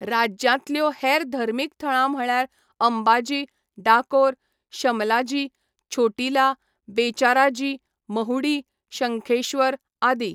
राज्यांतल्यो हेर धर्मीक थळां म्हळ्यार अंबाजी, डाकोर, शमलाजी, छोटीला, बेचाराजी, महुडी, शंखेश्वर आदी.